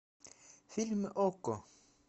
фильм окко